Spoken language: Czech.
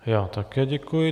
Já také děkuji.